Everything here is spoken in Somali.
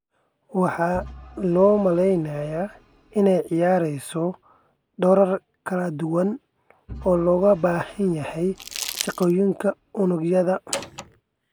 Waxaa loo maleynayaa inay ciyaareyso doorar kala duwan oo looga baahan yahay shaqooyinka unugyada.